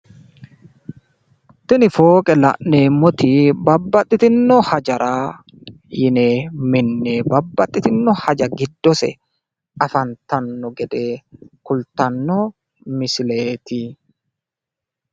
Tini fooqe la'nnemmoti babbaxitino hajara yine minne babbaxitino haja giddose afantanno gede kultanno misileeti.